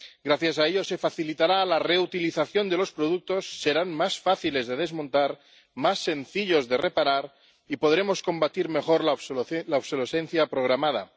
Gracias a ello se facilitará la reutilización de los productos, serán más fáciles de desmontar, más sencillos de reparar y podremos combatir mejor la obsolescencia programada.